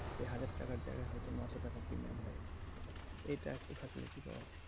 সেই হাজার টাকার জায়গায় হয়তো নয়শো টাকার premium হয়ে গেলো এটা এটা facility পাওয়া যায়।